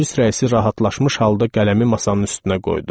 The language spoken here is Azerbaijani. Polis rəisi rahatlaşmış halda qələmi masanın üstünə qoydu.